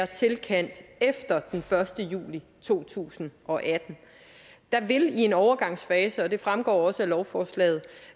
tilkendt efter den første juli to tusind og atten der vil i en overgangsfase og det fremgår også af lovforslaget